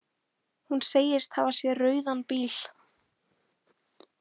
Hún segist hafa séð rauðan bíl.